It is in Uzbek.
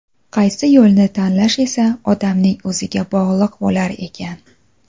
Qaysi yo‘lni tanlash esa odamning o‘ziga bog‘liq bo‘lar ekan.